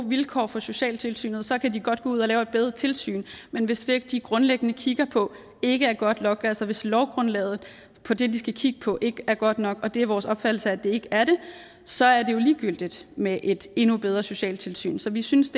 vilkår for socialtilsynet så kan de godt gå ud og lave et bedre tilsyn men hvis det de grundlæggende kigger på ikke er godt nok altså hvis lovgrundlaget for det de skal kigge på ikke er godt nok og det er vores opfattelse at det ikke er det så er det jo ligegyldigt med et endnu bedre socialtilsyn så vi synes